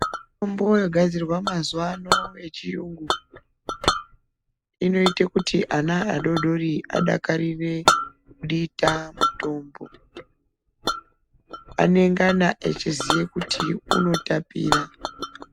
Mitombo inogadzirwa mazuva ano echirungu inoita kuti ana adodori adakarire kudita mutombo anengana achiziye kuti unotapira .